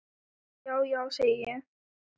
Já, já, segi ég.